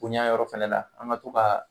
Koɲa yɔrɔ fɛnɛ la an ga to kaa